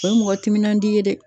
O ye mɔgɔ timinandi ye dɛ.